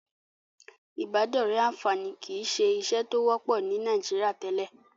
Ìbádọ́rẹ̀ẹ́ àǹfààní kìí ṣe ìṣe tó wọ́pọ̀ ní Nàìjíríà tẹ́lẹ̀.